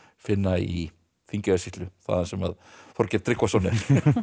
finna í Þingeyjarsýslu þaðan sem Þorgeir Tryggvason er